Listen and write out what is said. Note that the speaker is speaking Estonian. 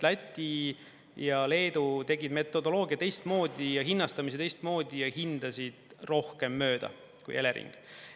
Läti ja Leedu tegid metodoloogia teistmoodi, hinnastamise teistmoodi ja hindasid rohkem mööda kui Elering.